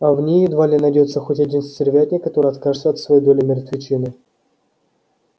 а в ней едва ли найдётся хоть один стервятник который откажется от своей доли мертвечины